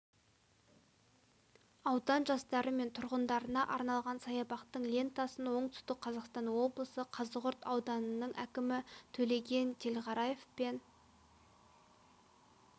аудан жастары мен тұрғындарына арналған саябақтың лентасын оңтүстік қазақстан облысы қазығұрт ауданының әкімі төлеген телғараев пен